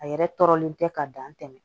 A yɛrɛ tɔɔrɔlen tɛ ka dan tɛmɛ